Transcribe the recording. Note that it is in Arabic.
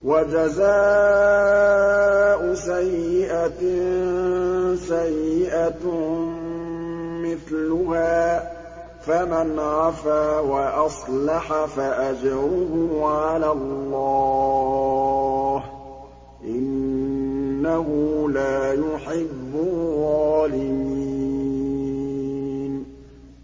وَجَزَاءُ سَيِّئَةٍ سَيِّئَةٌ مِّثْلُهَا ۖ فَمَنْ عَفَا وَأَصْلَحَ فَأَجْرُهُ عَلَى اللَّهِ ۚ إِنَّهُ لَا يُحِبُّ الظَّالِمِينَ